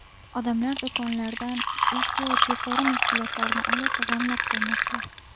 Odamlar do‘konlardan ehtiyoj yuqori mahsulotlarni olib, g‘amlab qo‘ymoqda.